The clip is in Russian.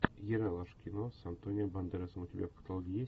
ералаш кино с антонио бандеросом у тебя в каталоге есть